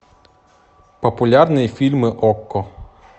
популярные фильмы окко